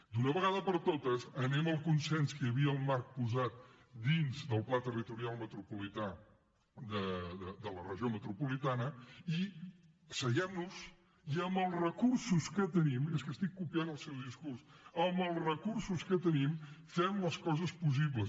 d’una vegada per totes anem al consens que hi havia el marc posat dins del pla territorial metropolità de la regió metropolitana i asseguem nos i amb els recursos que tenim és que estic copiant el seu discurs amb els recursos que tenim fem les coses possibles